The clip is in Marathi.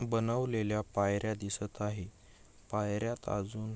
बनवलेल्या पायऱ्या दिसत आहे पायऱ्यात अजून--